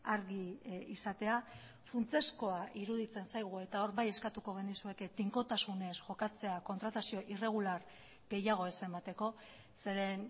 argi izatea funtsezkoa iruditzen zaigu eta hor bai eskatuko genizueke tinkotasunez jokatzea kontratazio irregular gehiago ez emateko zeren